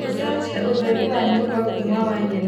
ũcenjie ũtheri wa nyũmba kuuma wa nyeni ũtuĩke mũtune